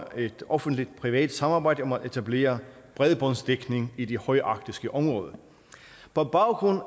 et offentligt privat samarbejde om at etablere bredbåndsdækning i det højarktiske område på baggrund